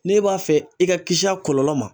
N'e b'a fɛ i ka kisi a kɔlɔlɔ ma